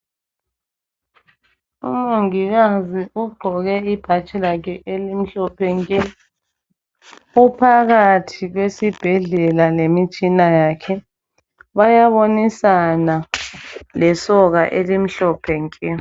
Umongikazi ugqoke ibhatshi lakhe elimhlophe nke, uphakathi kwesibhedlela lemitshina yakhe, bayabonisana lesoka elimhlophe nke.